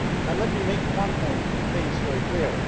Let me make one more thing very clear.